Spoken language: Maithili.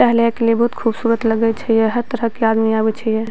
टहले के लिए बहुत खूबसूरत लगय छै ये यहे तरह के आदमी आवे छै ये।